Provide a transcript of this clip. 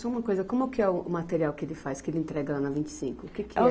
Só uma coisa, como que é o material que ele faz, que ele entrega lá na Vinte e cinco? O que que é?